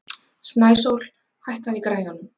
Snæsól, hækkaðu í græjunum.